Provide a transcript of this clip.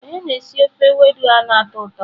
Onye na-esi ofe ewedu a na-atọ ụtọ?